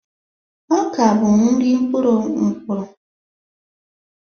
Ọka bụ nri mkpụrụ mkpụrụ